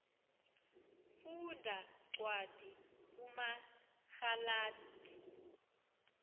funda cwadi kumagalati